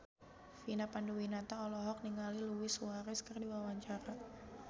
Vina Panduwinata olohok ningali Luis Suarez keur diwawancara